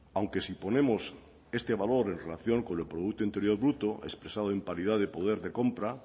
aunque si ponemos este valor en relación con el producto interior bruto expresado en paridad de poder de compra